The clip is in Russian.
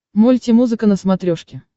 мультимузыка на смотрешке